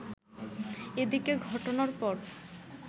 এদিকে ঘটনার পর